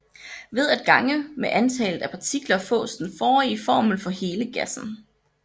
Ved at gange med antallet af partikler fås den forrige formel for hele gassen